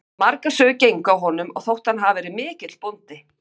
Margar sögur gengu af honum og þótti hann hafa verið mikill bóndi.